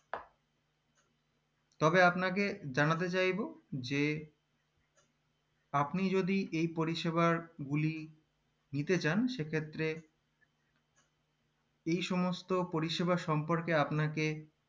তবে আপনাকে জানাতে চাইবো যে আপনি যদি এই পরিষেবার গুলি নিতে চান সেক্ষেত্রে এই সমস্ত পরিষেবা সম্পর্কে আপনাকে